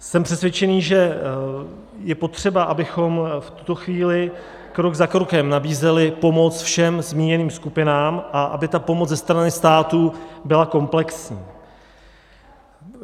Jsem přesvědčený, že je potřeba, abychom v tuto chvíli krok za krokem nabízeli pomoc všem zmíněným skupinám a aby ta pomoc ze strany státu byla komplexní.